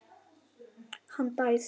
Hann dæsir.